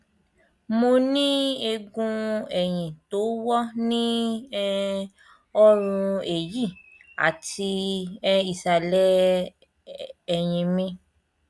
mo ní eegun ẹyìn tó wọ ní um ọrùn ẹyì àti um ìsàlẹ ẹyìn mi